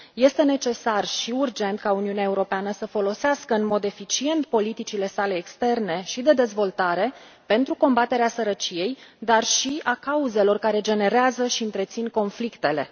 Este necesar și urgent ca Uniunea Europeană să folosească în mod eficient politicile sale externe și de dezvoltare pentru combaterea sărăciei, dar și a cauzelor care generează și întrețin conflictele.